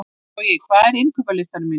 Bogi, hvað er á innkaupalistanum mínum?